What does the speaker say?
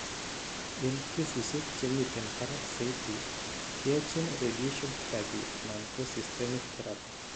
En kesisiek chemiten barak saiti keyachin radiaton therapy anan ko systemic therapy